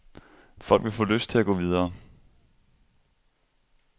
Folk vil få lyst til at gå videre.